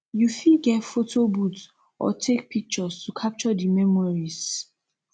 you fit get photo booth or take pictures to capture di memories